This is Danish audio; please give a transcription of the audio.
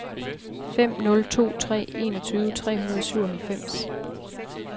fem nul to tre enogtyve tre hundrede og syvoghalvfems